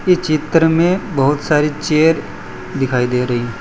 इस चित्र में बहुत सारे चेयर दिखाई दे रही--